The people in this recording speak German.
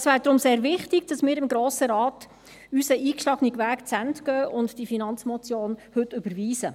Es wäre deshalb sehr wichtig, dass wir im Grossen Rat unseren eingeschlagenen Weg zu Ende gehen und diese Finanzmotion heute überweisen.